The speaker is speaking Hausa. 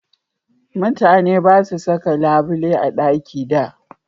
Mutane ba su saka labule a ɗaki da